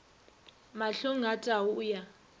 mahlong a tau o ya